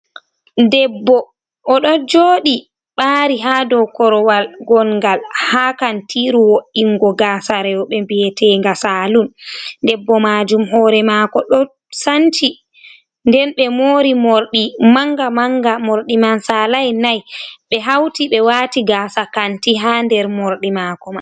Debbo, o ɗo joodi ɓaari haa dow korowal gongal haa kantiiru wo’ingo gaasa rewɓe bi'eteenga salun, debbo maajum hoore maako ɗo sanci nden be moori morɗi mannga- manga, morɗi man saalai nai ɓe hauti ɓe waati gaasa kanti haa nder morɗi maako